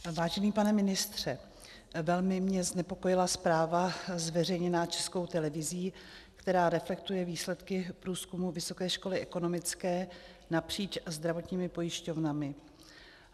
Vážený pane ministře, velmi mě znepokojila zpráva zveřejněná Českou televizí, která reflektuje výsledky průzkumu Vysoké školy ekonomické napříč zdravotními pojišťovnami.